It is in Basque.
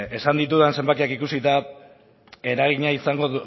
esan ditudan zenbakiak ikusita eragina izango